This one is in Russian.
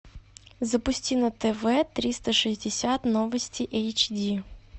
запусти на тв триста шестьдесят новости эйч ди